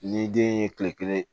Ni den ye kile kelen